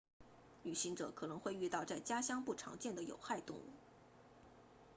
旅行者可能会遇到在家乡不常见的有害动物